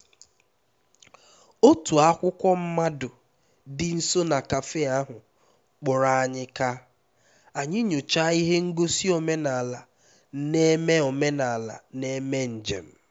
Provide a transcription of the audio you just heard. otu akwụkwọ mmado dị nso na cafe ahụ kpọrọ anyị ka anyị nyochaa ihe ngosi omenala na-eme omenala na-eme njem